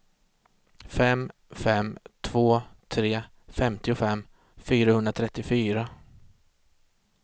fem fem två tre femtiofem fyrahundratrettiofyra